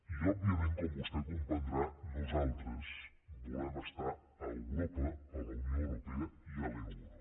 i òbviament com vostè deu comprendre nosaltres volem estar a europa a la unió europea i a l’euro